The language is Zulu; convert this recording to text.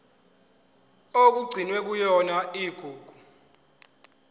okugcinwe kuyona igugu